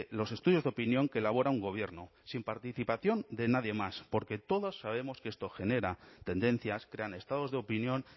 los estudios de opinión que elabora un gobierno sin participación de nadie más porque todas sabemos que esto genera tendencias crean estados de opinión